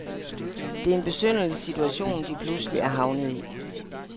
Det er en besynderlig situation, de pludselig er havnet i.